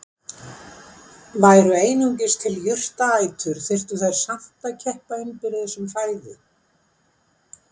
Væru einungis til jurtaætur þyrftu þær samt að keppa innbyrðis um fæðu.